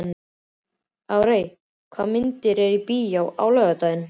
Arey, hvaða myndir eru í bíó á laugardaginn?